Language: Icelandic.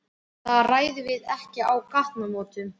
Það ræðum við ekki á gatnamótum.